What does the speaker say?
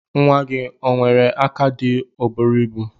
Nwa gi onwere aka dika oburu ibu?